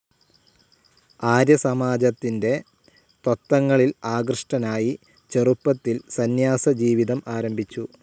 ആര്യസമാജത്തിൻ്റെ തത്വങ്ങളിൽ ആകൃഷ്ടനായി ചെറുപ്പത്തിൽ സന്ന്യാസ ജീവിതം ആരംഭിച്ചു.